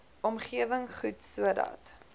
omgewing goed sodat